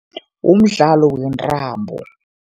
Umdlalo wentambo.